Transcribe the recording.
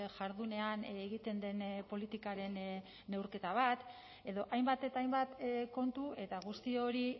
jardunean egiten den politikaren neurketa bat edo hainbat eta hainbat kontu eta guzti hori